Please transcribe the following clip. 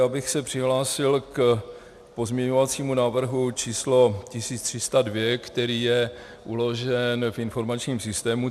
Já bych se přihlásil k pozměňovacímu návrhu číslo 1302, který je uložen v informačním systému.